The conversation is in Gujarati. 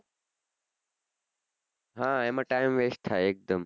હા એમાં time vest થાય એકદમ